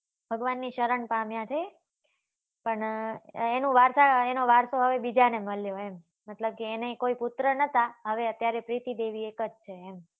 ભગવાન ની ચરણ પામ્યા છે પણ એના વારસો એનો વારસો હવે બીજા ને મળ્યો એમ મતલબ કે એને કોઈ પુત્ર નતા હવે અત્યારે પ્રીતિ દેવી એક જ છે એમ.